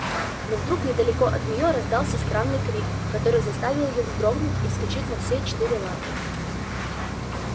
но вдруг недалеко от неё раздался странный крик который заставил её вздрогнуть и вскочить на все четыре лапы